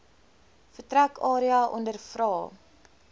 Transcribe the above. vertrek area ondervra